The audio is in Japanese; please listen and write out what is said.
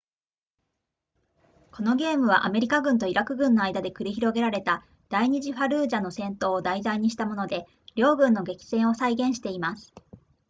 このゲームはアメリカ軍とイラク軍の間で繰り広げられた第二次ファルージャの戦闘を題材にしたもので両軍の激戦を再現しています